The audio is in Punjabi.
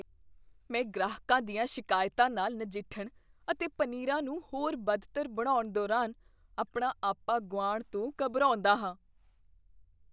ਮੈਂ ਗ੍ਰਾਹਕਾਂ ਦੀਆਂ ਸ਼ਿਕਾਇਤਾਂ ਨਾਲ ਨਜਿੱਠਣ ਅਤੇ ਪਨੀਰਾਂ ਨੂੰ ਹੋਰ ਬਦਤਰ ਬਣਾਉਣ ਦੌਰਾਨ ਆਪਣਾ ਆਪਾ ਗੁਆਉਣ ਤੋਂ ਘਬਰਾਉਂਦਾ ਹਾਂ।